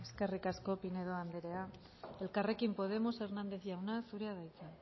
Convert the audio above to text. eskerrik asko pinedo andrea elkarrekin podemos hernández jauna zurea da hitza